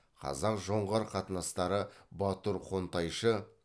қазақ жоңғар қатынастары батур хонтайшы